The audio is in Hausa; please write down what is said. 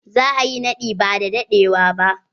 Za a yi naɗi ba da dadewa ba.